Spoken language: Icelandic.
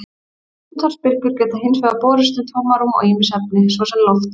Útvarpsbylgjur geta hins vegar borist um tómarúm og ýmis efni, svo sem loft.